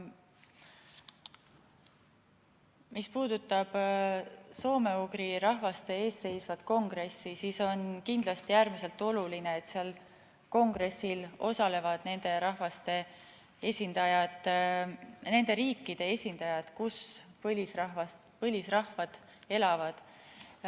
Mis puudutab eelseisvat soome‑ugri rahvaste kongressi, siis on kindlasti äärmiselt oluline, et seal kongressil osalevad nende riikide esindajad, kus põlisrahvad elavad.